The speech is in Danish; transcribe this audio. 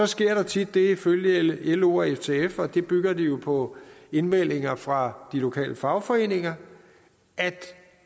sker der tit det ifølge ilo og ftf og det bygger de jo på indmeldinger fra de lokale fagforeninger at